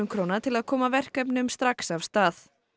króna til að koma verkefnum strax af stað